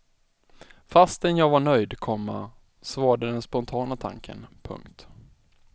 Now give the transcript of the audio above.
Fastän jag var nöjd, komma så var det den spontana tanken. punkt